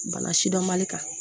Bana sidɔnbali kan